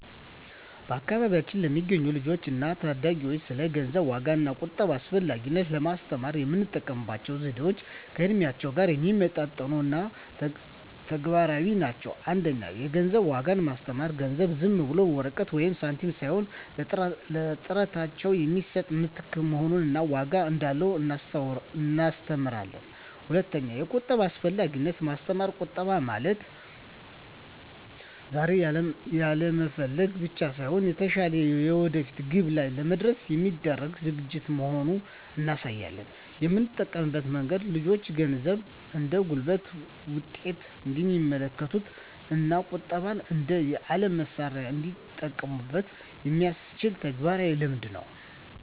በአካባቢያችን ለሚገኙ ልጆች እና ታዳጊዎች ስለ ገንዘብ ዋጋ እና ቁጠባ አስፈላጊነት ለማስተማር የምንጠቀምባቸው ዘዴዎች ከእድሜያቸው ጋር የሚመጣጠኑ እና ተግባራዊ ናቸው። 1) የገንዘብ ዋጋን ማስተማር ገንዘብ ዝም ብሎ ወረቀት ወይም ሳንቲም ሳይሆን ለጥረታቸው የሚሰጥ ምትክ መሆኑን እና ዋጋ እንዳለው እናስተምራለን። 2)የቁጠባ አስፈላጊነትን ማስተማር ቁጠባ ማለት ዛሬ ያለመፈለግ ብቻ ሳይሆን፣ የተሻለ የወደፊት ግብ ላይ ለመድረስ የሚደረግ ዝግጅት መሆኑን እናሳያለን። የምንጠቀመው መንገድ ልጆቹ ገንዘብን እንደ ጉልበት ውጤት እንዲመለከቱት እና ቁጠባን እንደ የዓላማ መሣሪያ እንዲጠቀሙበት የሚያስችል ተግባራዊ ልምምድ ነው።